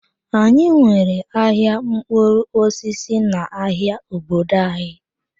Anyị nwere ahịa mkpụrụ osisi n'ahịa obodo anyị.